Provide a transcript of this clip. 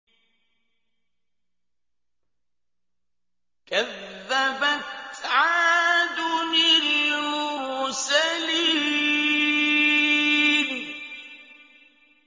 كَذَّبَتْ عَادٌ الْمُرْسَلِينَ